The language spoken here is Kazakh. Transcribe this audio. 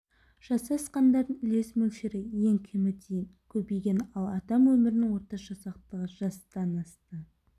жасы асқандардың үлес мөлшері ең кемі дейін көбейген ал адам өмірінің орташа ұзақтығы жастан асты